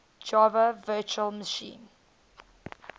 java virtual machine